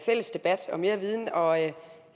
fælles debat og mere viden og jeg